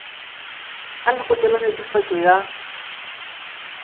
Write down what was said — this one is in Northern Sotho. a lekgotla la netefatšo ya